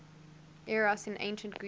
eros in ancient greece